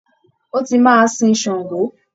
Ó tí màá sìn ṣàngó.